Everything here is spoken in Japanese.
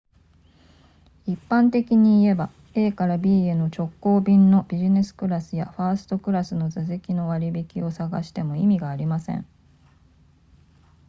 一般的に言えば a から b への直行便のビジネスクラスやファーストクラスの座席の割引を探しても意味がありません